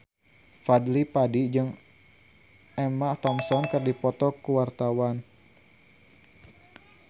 Fadly Padi jeung Emma Thompson keur dipoto ku wartawan